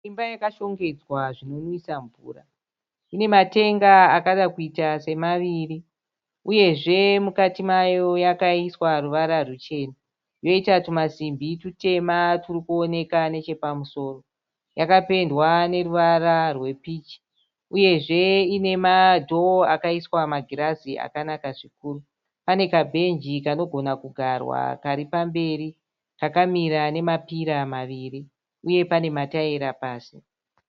Imba yakashongedzwa zvinonwisa mvura ine matenga akada kuita semaviri uyezve mukati mayo yakaiswa ruvara rwuchena yoita tumasimbi tutema turi kuoneka nechepamusoro yakapendwa neruvara rwepichi uyezve ine madho akaiswa magirazi akanaka zvikuru pane kabhenji kanogona kugarwa kari pamberi kakamira nemapira maviri uye pane mataira pasi.